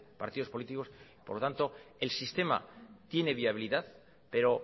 partidos políticos por lo tanto el sistema tiene viabilidad pero